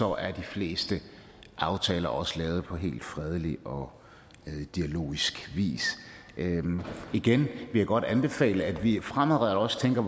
er de fleste aftaler også lavet på helt fredelig og dialogisk vis igen vil jeg godt anbefale at vi fremadrettet også tænker